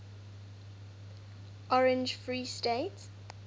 orange free state